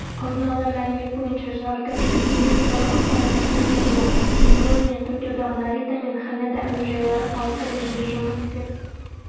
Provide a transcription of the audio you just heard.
алдын ала мәлімет бойынша зардап шеккендер туралы ақпарат тіркелген жоқ теміржол және токиодағы нарита мен ханэда әуежайлары қалыпты режимде жұмыс істеп